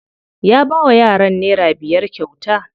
Ya bawa yaran nera biyar kyauta.